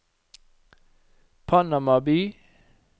Panama by